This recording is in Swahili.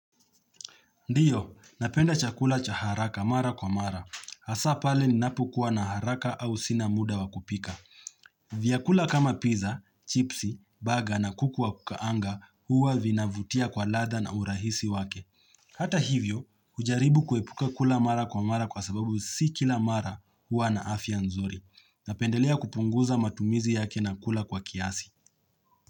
Ndiyo, napenda chakula cha haraka mara kwa mara. Hasa pale ni napu kuwa na haraka au sina muda wakupika. Vyakula kama pizza, chipsi, baga na kuku wa kukaanga huwa vinavutia kwa ladhaa na urahisi wake. Hata hivyo, ujaribu kuepuka kula mara kwa mara kwa sababu si kila mara huwa na afia nzuri. Napendelea kupunguza matumizi yake na kula kwa kiasi.